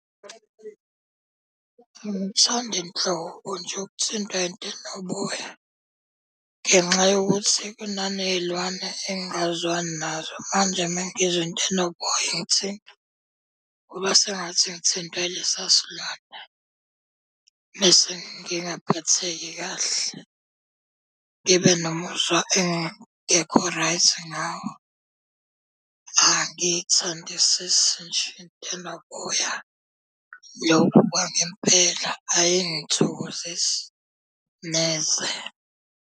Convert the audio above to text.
Angithandi nhlobo nje ukuthintwa into enoboya ngenxa yokuthi kunaney'lwane engingazwani nazo. manje uma ngizwa into enoboya ingithinta kuba sengathi ngithintwa ilesiya silwane bese ngingaphatheki kahle. Ngibe nomuzwa engingekho right ngawo. Angithandisisi nje into enoboya. Lokho kwangempela ayingithokozisi neze.